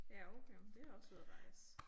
Ja okay men det også ude at rejse